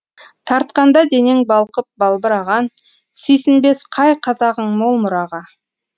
тартқанда денең балқып балбыраған сүйсінбес қай қазағың мол мұраға